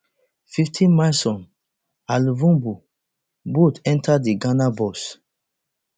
fiftymilson and luvumbu both enta di ghana box